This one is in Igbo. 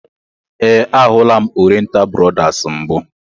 We, a hụla m Oriental brothers mbụ.